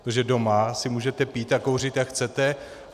Protože doma si můžete pít a kouřit, jak chcete.